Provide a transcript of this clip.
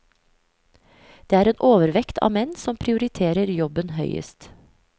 Det er en overvekt av menn som prioriterer jobben høyest.